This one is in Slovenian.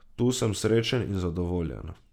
Tu sem srečen in zadovoljen.